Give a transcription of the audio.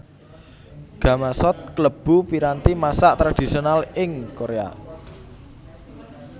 Gamasot kalebu piranti masak tradhisional ing Korea